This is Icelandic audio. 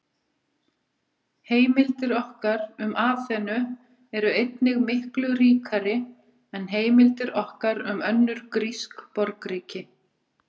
Heimildir okkar um Aþenu eru einnig miklu ríkari en heimildir okkar um önnur grísk borgríki.